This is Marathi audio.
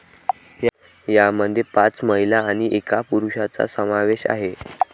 यामध्ये पाच महिला आणि एका पुरुषाचा समावेश आहे.